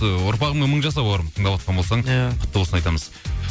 ыыы ұрпағыңмен мың жаса бауырым тыңдап отқан болсаң иә құтты болсын айтамыз